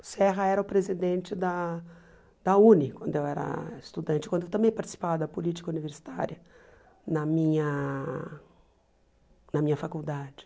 O Serra era o presidente da da UNE, quando eu era estudante, quando eu também participava da política universitária na minha na minha faculdade.